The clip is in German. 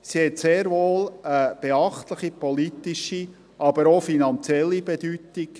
Sie hat sehr wohl eine beachtliche politische, aber auch finanzielle Bedeutung.